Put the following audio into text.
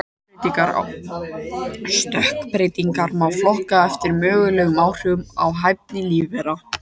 Stökkbreytingar má flokka eftir mögulegum áhrifum á hæfni lífvera.